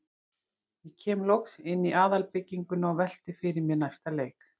Ég kem loks inn í aðalbygginguna og velti fyrir mér næsta leik.